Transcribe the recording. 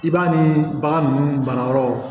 I b'a ni bagan ninnu banayɔrɔw